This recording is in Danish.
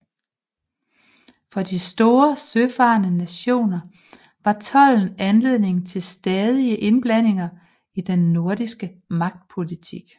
For de store søfarende nationer var tolden anledning til stadige indblandinger i den nordiske magtpolitik